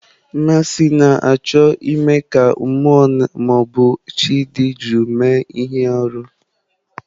Mmasị na-achọ ime ka mmụọ ma ọ bụ chi dị jụụ mee ihe arụ.